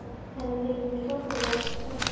Þetta þykir mér stórfurðulegt, satt að segja.